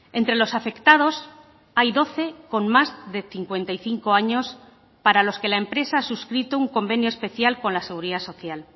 entre los afectados hay doce con más de cincuenta y cinco años para los que la empresa ha suscrito un convenio especial con la seguridad social